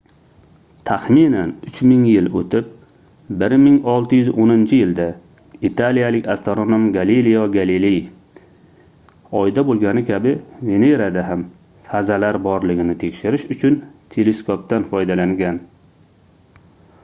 taxminan uch ming yil oʻtib 1610-yilda italiyalik astronom galelio galiley oyda boʻlgani kabi venerada ham fazalar borligini tekshirish uchun teleskopdan foydalangan